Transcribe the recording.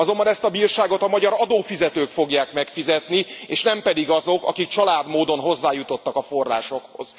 Azonban ezt a bírságot a magyar adófizetők fogják megfizetni, és nem pedig azok, akik csalárd módon hozzájutottak a forrásokhoz.